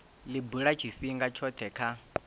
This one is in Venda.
li bula tshifhinga tshothe kha